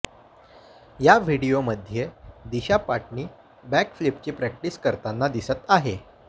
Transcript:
या व्हिडीओमध्ये दिशा पाटनी बॅक फ्लिपची प्रॅक्टिस करताना दिसत आहे